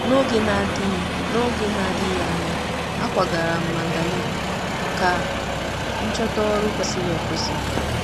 N'oge na-adịghị N'oge na-adịghị anya, akwagara m Mandalay ka m chọta ọrụ kwesịrị ekwesị.